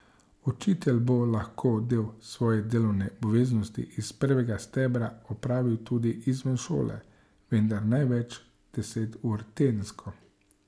Učitelj bo lahko del svoje delovne obveznosti iz prvega stebra opravil tudi izven šole, vendar največ deset ur tedensko.